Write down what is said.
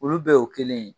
Olu bɛɛ y'o kelen ye